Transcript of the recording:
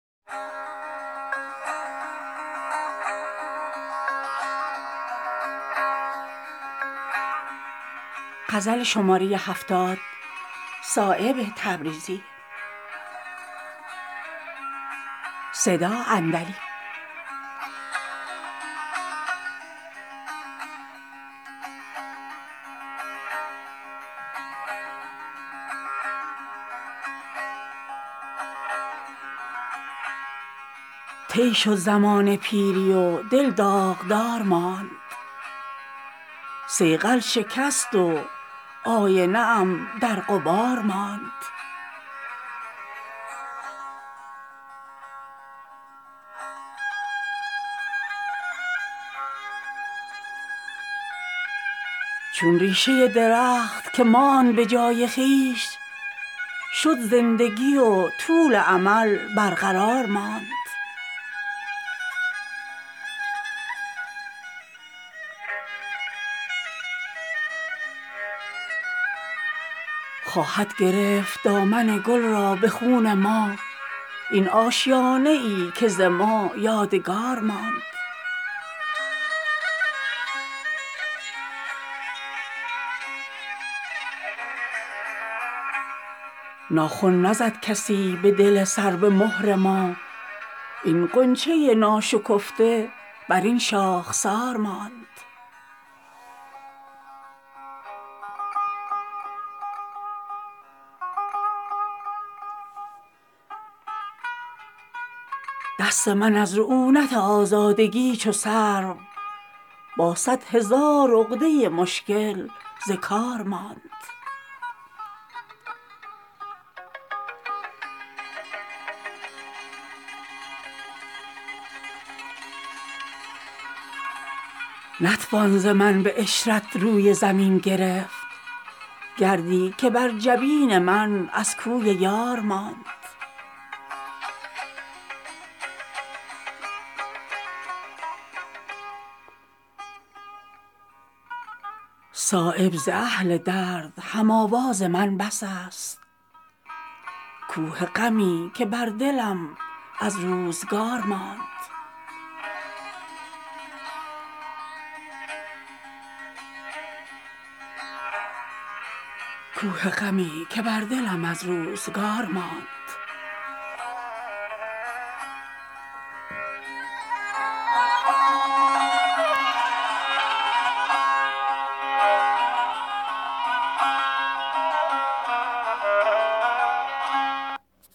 از خط دل سیه ز رخش آب و تاب رفت مظلوم ظالمی که به پای حساب رفت مشت زری که غنچه ز بلبل دریغ داشت در یک نفس تمام به خرج گلاب رفت آورد نبض دولت بیدار را به دست در سایه نهال تو هر کس به خواب رفت شد رشته ام گره ز خیال دهان یار عمر دراز در سر این پیچ و تاب رفت از قرب گلرخان لب خندان کسی نبرد شبنم برون ز باغ به چشم پر آب رفت خواهد گرفت دامن آتش به خون من خوناب حسرتی که مرا از کباب رفت خود را چو شبنم آن که درین باغ جمع کرد از خود برون به یک نظر آفتاب رفت صایب به این خوشم که شدم محو در محیط هر چند سر به باد مرا چون حباب رفت